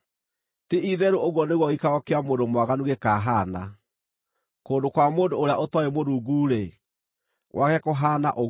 Ti-itherũ ũguo nĩguo gĩikaro kĩa mũndũ mwaganu gũkahaana; kũndũ kwa mũndũ ũrĩa ũtooĩ Mũrungu-rĩ, gwake kũhaana ũguo.”